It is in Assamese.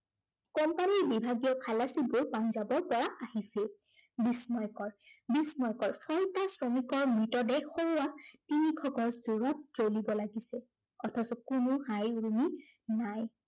company ৰ বিভাগীয় খালাচীবোৰ পাঞ্জাৱৰ পৰা আহিছে। বিস্ময়কৰ, বিস্ময়কৰ। ছয়টা শ্ৰমিকৰ মৃতদেহ সৌৱা তিনিশ গজ দূৰত জ্বলিব লাগিছে, অথচ কোনো হাই উৰুমি নাই